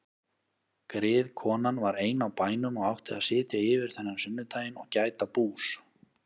Griðkonan var ein á bænum og átti að sitja yfir þennan sunnudaginn og gæta bús.